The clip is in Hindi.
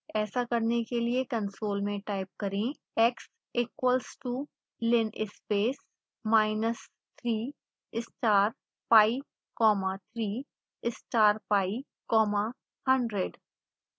ऐसा करने के लिए कंसोल में टाइप करें